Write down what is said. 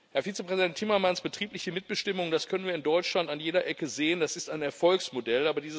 Herr Vizepräsident Timmermans, betriebliche Mitbestimmung das können wir in Deutschland an jeder Ecke sehen das ist ein Erfolgsmodell.